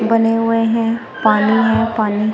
बने हुए हैं पानी है पानी।